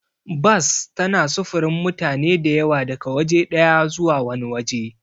Bas tana sufurin mutane da yawa daga waje ɗaya zuwa wani waje.